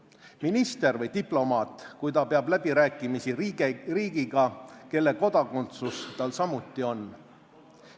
Aga minister või diplomaat, kui ta peab läbirääkimisi riigiga, mille kodakondsus tal samuti on?